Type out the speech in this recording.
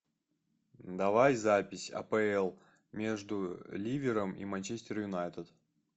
давай запись апл между ливером и манчестер юнайтед